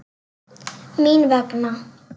Mín vegna.